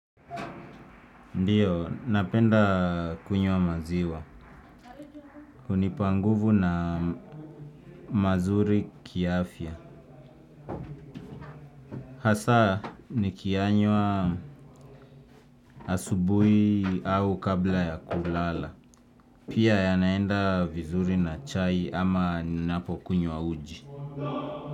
Ndiyo, napenda kunywa maziwa. Kunipa nguvu na mazuri kiafya. Hasa, nikiyanywa asubuhi au kabla ya kulala. Pia yanaenda vizuri na chai ama ninapo kunywa uji.